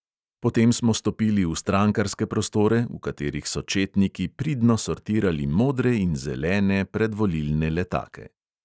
Potem smo stopili v strankarske prostore, v katerih so četniki pridno sortirali modre in zelene predvolilne letake.